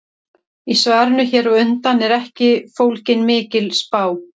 Í svarinu hér á undan er ekki fólgin mikil spá.